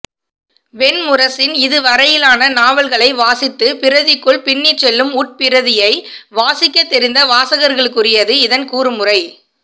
வெண்முரசின் இதுவரையிலான நாவல்களை வாசித்து பிரதிக்குள் பின்னிச்செல்லும் உட்பிரதியை வாசிக்கத்தெரிந்த வாசகர்களுக்குரியது இதன் கூறுமுறை